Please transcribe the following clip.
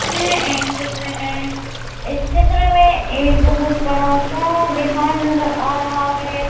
यह एक चित्र है इस चित्र में एक बहुत बड़ा सा बिहार नज़र आ रहा है।